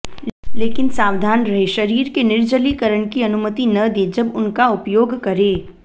लेकिन सावधान रहें शरीर के निर्जलीकरण की अनुमति न दें जब उनका उपयोग करें